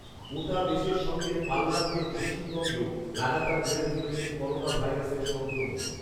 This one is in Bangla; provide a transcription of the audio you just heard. গোটা দেশের সঙ্গে পাল্লা দিয়ে পশ্চিমবঙ্গেও লাগাতার বেড়ে চলেছে করোনা ভাইরাসের সংক্রমণ